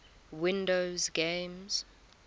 windows games